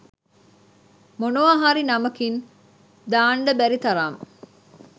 මොනවා හරි නමකින් දාන්ඩ බැරි තරම්